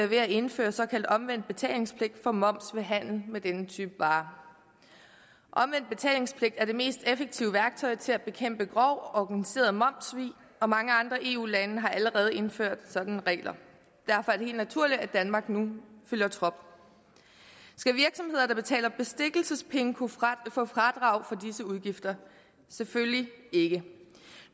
ved at indføre en såkaldt omvendt betalingspligt for moms ved handel med denne type varer omvendt betalingspligt er det mest effektive værktøj til at bekæmpe grov organiseret momssvig og mange andre eu lande har allerede indført sådanne regler derfor er det helt naturligt at danmark nu følger trop skal virksomheder der betaler bestikkelsespenge kunne få fradrag for disse udgifter selvfølgelig ikke